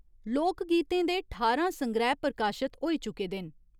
लोक गीतें दे ठारां संग्रैह् प्रकाशत होई चुके दे न।